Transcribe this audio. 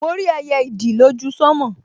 Mo rí ẹyẹ ìdì lójú sánmọ̀